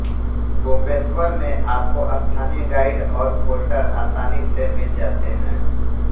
गोपेश्वर में आपको स्थानीय गाइड और पोर्टर आसानी से मिल जाते हैं